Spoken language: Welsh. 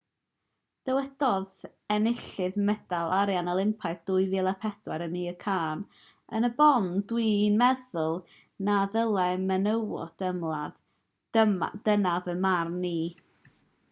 dywedodd enillydd medal arian olympaidd 2004 amir khan yn y bôn dw i'n meddwl na ddylai menywod ymladd dyna fy marn i